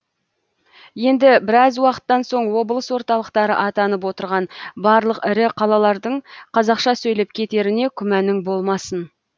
енді біраз уақыттан соң облыс орталықтары атанып отырған барлық ірі қалалардың қазақша сөйлеп кетеріне күмәнің болмасын